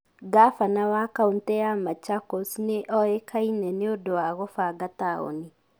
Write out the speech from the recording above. Ngavana wa kaũntĩ ya Machakos nĩ ũĩkaine nĩ ũndũ wa kũbanga taũni.